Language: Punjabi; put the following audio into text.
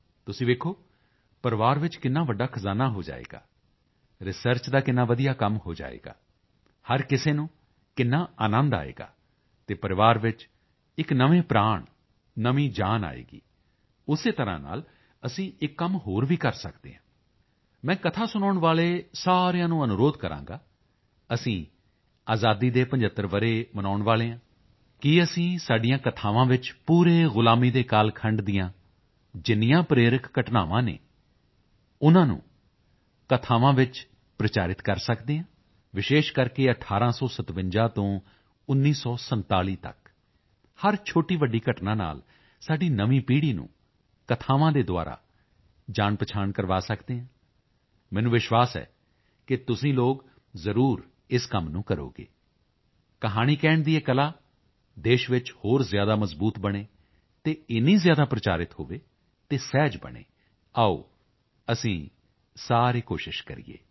ਤੁਸੀਂ ਦੇਖੋ ਪਰਿਵਾਰ ਵਿੱਚ ਕਿੰਨਾ ਵੱਡਾ ਖਜ਼ਾਨਾ ਹੋ ਜਾਵੇਗਾ ਰਿਸਰਚ ਦਾ ਕਿੰਨਾ ਵਧੀਆ ਕੰਮ ਹੋ ਜਾਵੇਗਾ ਹਰ ਕਿਸੇ ਨੂੰ ਕਿੰਨਾ ਆਨੰਦ ਆਵੇਗਾ ਅਤੇ ਪਰਿਵਾਰ ਵਿੱਚ ਇੱਕ ਨਵੇਂ ਪ੍ਰਾਣ ਨਵੀਂ ਜਾਨ ਆਵੇਗੀ ਉਸੇ ਤਰ੍ਹਾਂ ਨਾਲ ਅਸੀਂ ਇੱਕ ਕੰਮ ਹੋਰ ਵੀ ਕਰ ਸਕਦੇ ਹਾਂ ਮੈਂ ਕਥਾ ਸੁਣਾਉਣ ਵਾਲੇ ਸਾਰਿਆਂ ਨੂੰ ਅਨੁਰੋਧ ਕਰਾਂਗਾ ਅਸੀਂ ਆਜ਼ਾਦੀ ਦੇ 75 ਵਰ੍ਹੇ ਮਨਾਉਣ ਵਾਲੇ ਹਾਂ ਕੀ ਅਸੀਂ ਸਾਡੀਆਂ ਕਥਾਵਾਂ ਵਿੱਚ ਪੂਰੇ ਗੁਲਾਮੀ ਦੇ ਕਾਲਖੰਡ ਦੀਆਂ ਜਿੰਨੀਆਂ ਪ੍ਰੇਰਕ ਘਟਨਾਵਾਂ ਹਨ ਉਨ੍ਹਾਂ ਨੂੰ ਕਥਾਵਾਂ ਵਿੱਚ ਪ੍ਰਚਾਰਿਤ ਕਰ ਸਕਦੇ ਹਾਂ ਵਿਸ਼ੇਸ਼ ਕਰਕੇ 1857 ਤੋਂ 1947 ਤੱਕ ਹਰ ਛੋਟੀਵੱਡੀ ਘਟਨਾ ਨਾਲ ਸਾਡੀ ਨਵੀਂ ਪੀੜ੍ਹੀ ਨੂੰ ਕਥਾਵਾਂ ਦੇ ਦੁਆਰਾ ਜਾਣਪਹਿਚਾਣ ਕਰਵਾ ਸਕਦੇ ਹਾਂ ਮੈਨੂੰ ਵਿਸ਼ਵਾਸ ਹੈ ਕਿ ਤੁਸੀਂ ਲੋਕ ਜ਼ਰੂਰ ਇਸ ਕੰਮ ਨੂੰ ਕਰੋਗੇ ਕਹਾਣੀ ਕਹਿਣ ਦੀ ਇਹ ਕਲਾ ਦੇਸ਼ ਵਿੱਚ ਹੋਰ ਜ਼ਿਆਦਾ ਮਜ਼ਬੂਤ ਬਣੇ ਅਤੇ ਇੰਨੀ ਜ਼ਿਆਦਾ ਪ੍ਰਚਾਰਿਤ ਹੋਵੇ ਅਤੇ ਸਹਿਜ ਬਣੇ ਆਓ ਅਸੀਂ ਸਾਰੇ ਕੋਸ਼ਿਸ਼ ਕਰੀਏ